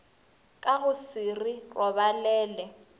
ka go se re robalele